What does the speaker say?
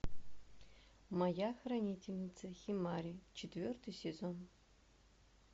моя хранительница химари четвертый сезон